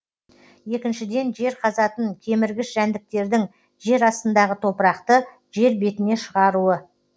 екіншіден жер қазатын кеміргіш жәндіктердің жер астындағы топырақты жер бетіне шығаруы